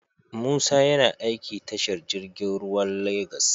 Musa YAna aiki tashar jirgin ruwa lagos